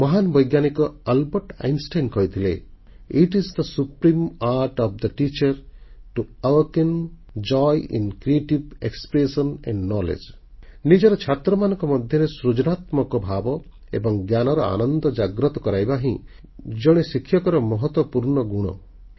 ମହାନ ବୈଜ୍ଞାନିକ Albert Einstein କହିଥିଲେ it is the supreme art of the teacher to awaken joy in creative expression and knowledge ନିଜର ଛାତ୍ରମାନଙ୍କ ମଧ୍ୟରେ ସୃଜନାତ୍ମକ ଭାବ ଏବଂ ଜ୍ଞାନର ଆନନ୍ଦ ଜାଗ୍ରତ କରାଇବା ହିଁ ଜଣେ ଶିକ୍ଷକର ମହତ୍ୱପୂର୍ଣ୍ଣ ଗୁଣ